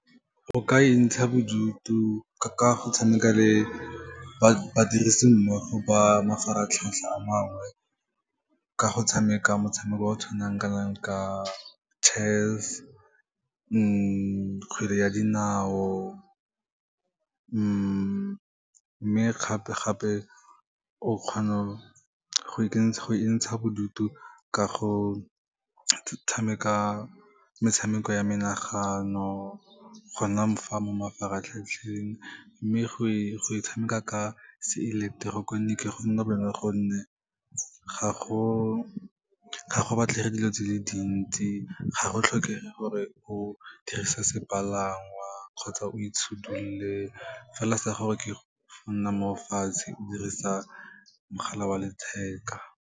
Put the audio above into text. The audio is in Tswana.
O ka e ntsha bodutu ka go tshameka le badirisimmogo ba mafaratlhatlha a mangwe, ka go tshameka motshameko o tshwanakanang ka chess, kgwele ya dinao, mme gape-gape o kgona go entsha bodutu ka go tshameka metshameko ya menagano, go nna fa mo mafaratlhatlheng. Mme go e tshameka ka seileketeroniki go nna bonolo ka gonne ga go batlhege dilo tse di le dintsi, ga go tlhokege gore o dirise sepalangwa kgotsa o itshudulole, mme fela sa gago ke go nna mo fatshe o dirisa mogala wa letheka.